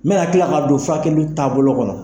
N bɛna tila ka don fakimi taabolo kɔnɔ.